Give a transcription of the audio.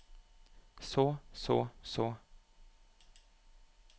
så så så